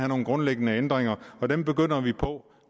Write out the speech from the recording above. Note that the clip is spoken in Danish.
nogle grundlæggende ændringer og dem begynder vi på